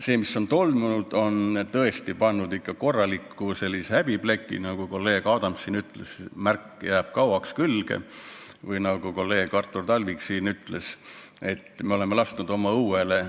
See, mis on toimunud, on tõesti pannud meile külge korraliku häbipleki, nagu kolleeg Adams siin ütles, see märk jääb kauaks külge, või nagu kolleeg Artur Talvik ütles, et me oleme lasknud oma õuele.